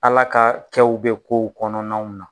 Ala ka kɛw bi kow kɔnɔnaw na